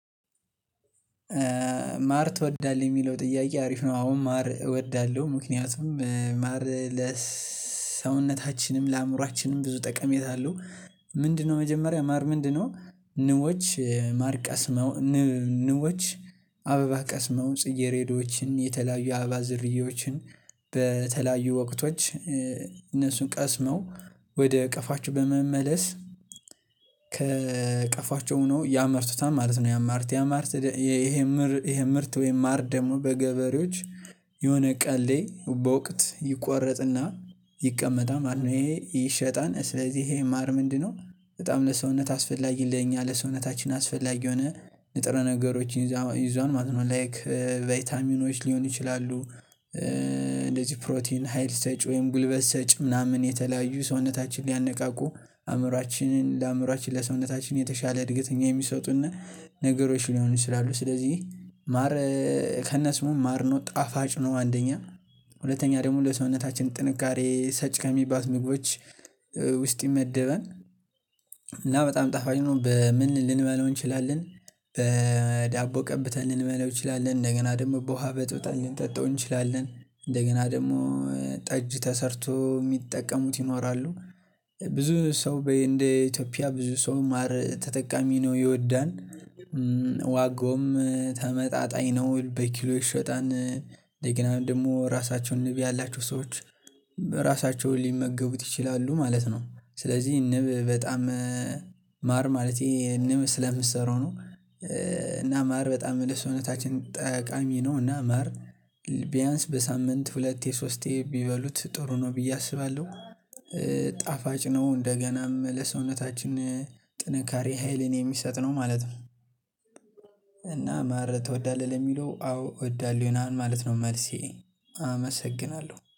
ማር ትወዳለህ የሚለው ጥያቄ አሪፍ ነው አሁን ማር እወዳለሁ ምክንያቱም ማር ለሰውነታችንም ለአእምሮአችንም ብዙ ጠቀሜታ አለው። ምንድነው መጀመሪያ ማር ምንድነው? ንቦች ማር ቀስመው ንቦች አበባ ቀስመው ጽጌሬዳዎችን የተለያዩ አበባ ዘርያዎችን በተለያዩ ወቅቶች እነሱን ቀስመው ወደ ቀፏቸው በመመለስ ከእቀፏቸው ሆነው ያመርቱታል ማለት ነው። ያማርት ያማርት ይሄ ምርት ይሄ ምርት ወይም ማር ደግሞ በገበሬዎች የሆነ ቀን ላይ በወቅት ይቆረጥና ይቀመጣል ማለት ነው። ይሄ ይሸጣል ስለዚህ ይሄ ማር ምንድነው በጣም ለሰውነት አስፈላጊ ለኛ ለሰውነታችን አስፈላጊ የሆነ ንጥረ ነገሮችን ይዟል ማለት ነው። ላይክ ቫይታሚኖች ሊሆኑ ይችላሉ። እንደዚህ ፕሮቲን ሀይል ሰጭ ወይም ጉልበት ሰጭ ምናምን የተለያዩ ሰውነታችን ሊያነቃቁ አእምሮአችንን ለአእምሮአችን ለሰውነታችን የተሻለ እድገት የሚሰጡና ነገሮች ሊሆኑ ይችላሉ። ስለዚህ ማር ከነስሙ ማር ነው ጣፋጭ ነው። አንደኛ ሁለተኛ ደግሞ ለሰውነታችን ጥንካሬ ሰጭ ከሚባሉት ምግቦች ውስጥ ይመደበል። እና በጣም ጣፋጭ ነው። በምን ልንመለው እንችላለን? በዳቦ ቀብተን ልንበላው እንችላለን እንደገና ደግሞ በውሃ በጥብጠን ልንጠጣው እንችላለን እንደገና ደግሞ ጠጅ ተሰርቶ የሚጠቀሙት ይኖራሉ። ብዙ ሰው በ እንደ ኢትዮጵያ ብዙ ሰው ማር ተጠቃሚ ነው። የወዳን ዋጋውም ተመጣጣኝ ነው በኪሎ ይሸጣን እንደገና ደግሞ ራሳቸውን ንብ ያላችሁ ሰዎች እራሳችው ሊመገቡት ይችላሉ ማለት ነው። ስለዚህ ንብ በጣም ማር ማለቴ ንብ ስለምትሰራው ነው። እና ማር በጣም ለሰውነታችን ጠቃሚ ነው። እና ማር በሳምንት ሁለቴ ሶስቴ ቢበሉት ጥሩ ነው ብዬ አስባለሁ። ጣፋጭ ነው እንደገናም ለሰውነታችን ጥንካሬ ሀይልን የሚሰጥ ነው ማለት ነው። እና ማር ትወዳለህ ለሚለው አዎ እወዳለሁ ይሆናል ማለት ነው። መልሴ አመሰግናለሁ